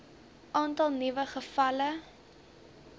aantal nuwe gevalle